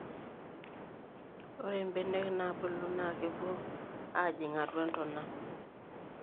ore ibenek naabulu naa kepuo aajing atua intona